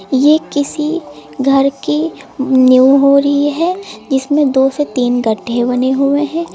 ये किसी घर की नींव हो रही है जिसमें दो से तीन गड्ढे बने हुए हैं।